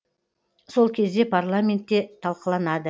сол кезде парламентте талқыланады